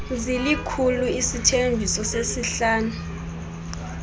zilikhulu isithembiso sesihlanu